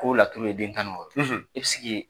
Ko laturu ye den tan ni wɔɔrɔ ye